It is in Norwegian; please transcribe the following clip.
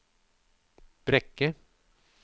Brekke